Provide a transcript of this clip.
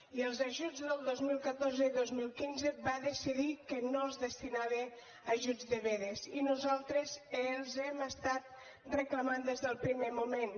i els ajuts del dos mil catorze i dos mil quinze va decidir que no es destinaven a ajuts de vedes i nosaltres els hem reclamat des del primer moment